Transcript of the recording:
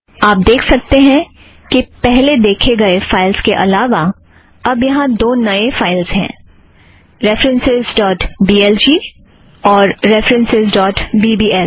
आप देख सकते हैं कि पहले देखे गए फ़ाइलस के अलावा अब यहाँ दो नए फ़ाइलस हैं references dot B L G और references dot B B L